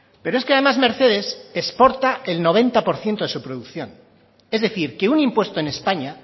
pero es que además mercedes exporta el noventa por ciento de su producción es decir que un impuesto en españa